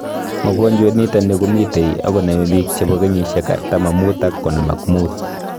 mogonjwet nitani komitei akoname bik chebo kenyisiek 45 akoi 55